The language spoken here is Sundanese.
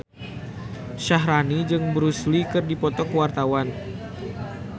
Syaharani jeung Bruce Lee keur dipoto ku wartawan